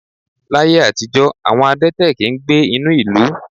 Láyé àtijó, àwọn adẹ́tẹ̀ kì ń gbé inú ìlú.